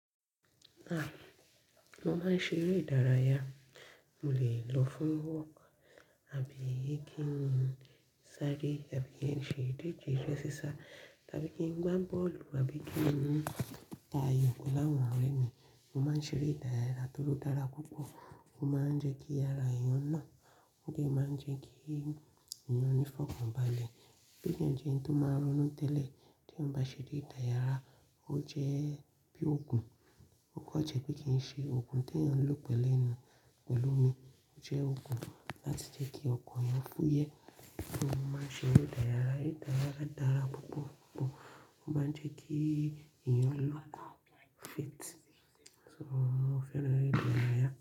Ah, mo ma ń ṣeré ìdárayá, mo lè lọ fún work, àbí kí n sáré, àbí kí n ṣe ìdíje eré ísá, tàbí kí n gbá bọ́ọ̀lù, àbí kí n ta ayò pẹ̀lú àwọn ọ̀rẹ́ mi. Mo máa ń ṣeré ìdárayá, torí ó dára púpọ̀, ó ma jẹ n kí ara èyàn náà ó dẹ̀ ma ń jẹ́ kí èyàn ní ìfọ̀kànbalẹ̀ tó jẹ́ dẹ̀ ẹni tó máa ronú tẹ́lẹ̀ tí mo bá ṣe dé ìdárayá, o jẹ́ bí òògùn, ó kọjá pé kí n ṣe òògùn tí ẹ́ ń lò pẹ̀lú mi. O jẹ́ òògùn láti jẹ́ kí ọkàn èyàn fúye, só mo ma ń ṣeré ìdárayá, ìdárayá dára púpọ̀ púpọ̀, ó má ń jẹ́ kí èèyàn lọ́kùú fit. Mo fẹ́ràn eré ìdárayá.